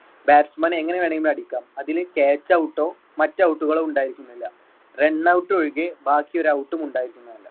batsman എങ്ങനെ വേണമെങ്കിലും അടിക്കാം അതിൽ caught out ഓ മറ്റു out കളോ ഉണ്ടായിരിക്കുന്നതല്ല. run out ഒഴികെ ബാക്കി ഒരു out ഉം ഉണ്ടായിരിക്കുന്നതല്ല.